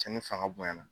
Cɛnni fanga bonyana